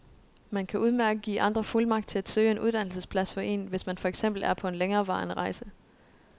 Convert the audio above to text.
Man kan udmærket give andre fuldmagt til at søge en uddannelsesplads for en, hvis man for eksempel er på en længerevarende rejse.